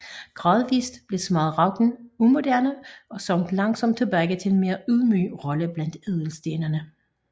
Gradvist blev smaragden umoderne og sank langsomt tilbage til en mere ydmyg rolle blandt ædelstenene